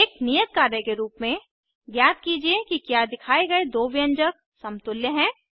एक नियत कार्य के रूप में ज्ञात कीजिए कि क्या दिखाए गए दो व्यंजक समतुल्य हैं